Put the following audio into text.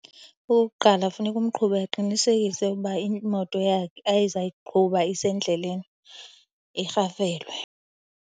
Okokuqala, funeka umqhubi aqinisekise ukuba imoto yakhe azayiqhuba isendleleni irhafelwe.